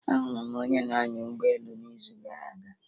Ahụrụ m onye na-anya ụgbọ elu n'izu gara aga